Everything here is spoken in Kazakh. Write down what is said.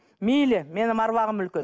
мейлі менің аруағым үлкен